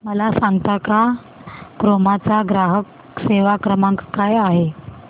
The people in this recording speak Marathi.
मला सांगता का क्रोमा चा ग्राहक सेवा क्रमांक काय आहे